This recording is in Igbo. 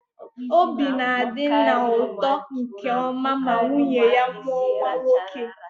Obi na-adị nna ụtọ nke ọma ma nwunye ya mụọ nwa nwoke.